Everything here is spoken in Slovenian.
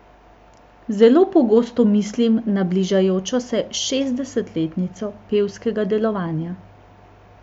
Zelo pogosto mislim na bližajočo se šestdesetletnico pevskega delovanja.